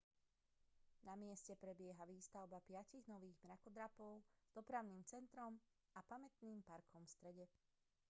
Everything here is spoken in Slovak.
na mieste prebieha výstavba piatich nových mrakodrapov s dopravným centrom a pamätným parkom v strede